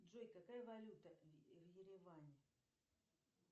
джой какая валюта в ереване